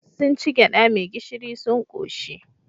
Sun ci gyaɗa mai gishiri sun ƙoshi.